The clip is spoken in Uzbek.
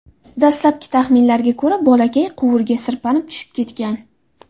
Dastlabki taxminlarga ko‘ra, bolakay quvurga sirpanib tushib ketgan.